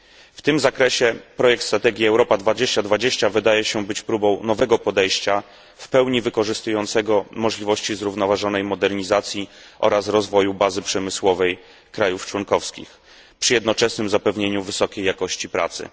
W tym zakresie projekt strategii Europa 2020 wydaje się być próbą nowego podejścia, w pełni wykorzystującego możliwości zrównoważonej modernizacji oraz rozwoju bazy przemysłowej państw członkowskich, przy jednoczesnym zapewnieniu wysokiej jakości pracy.